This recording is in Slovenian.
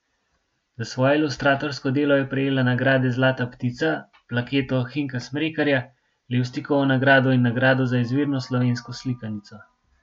Za svoje ilustratorsko delo je prejela nagrade zlata ptica, plaketo Hinka Smrekarja, Levstikovo nagrado in nagrado za izvirno slovensko slikanico.